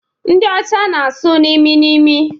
Ndi ọcha na asụ n'imi n'imi